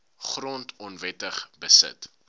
grond onwettig beset